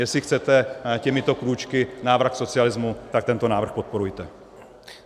Jestli chcete těmito krůčky návrat k socialismu, tak tento návrh podporujte!